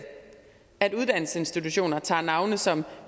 at uddannelsesinstitutioner tager navne som